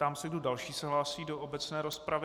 Ptám se, kdo další se hlásí do obecné rozpravy.